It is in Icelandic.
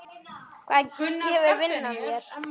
Hvað gefur vinnan þér?